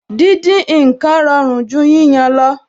Díndín ǹkan rọrùn ju yíyan lọ